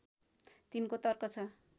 तिनको तर्क छ